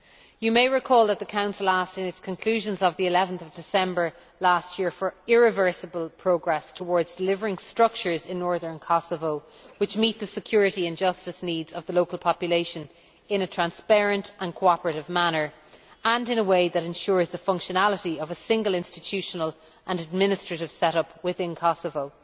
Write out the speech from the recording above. You may recall that the Council asked in its conclusions of 11 December last year for irreversible progress towards delivering structures in northern Kosovo which meet the security and justice needs of the local population in a transparent and cooperative manner and in a way that ensures the functionality of a single institutional and administrative set up within Kosovo.